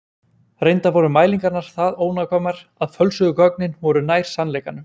reyndar voru mælingarnar það ónákvæmar að fölsuðu gögnin voru nær sannleikanum